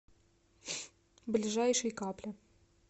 ближайший капля